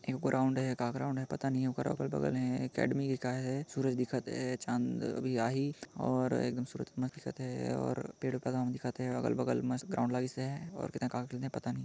EU ground है का ground है पता नहीं उका अगल बगल है अकाडेमी का है सूरज दिखत है चाँद भी आहि और एकदम सूरज कस दिखथ हे और पेड़ कस दिखत है अगल-बगल मस्त ग्राउंड लाईसे और का काथे पता नहीं--